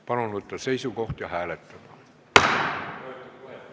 Palun võtta seisukoht ja hääletada!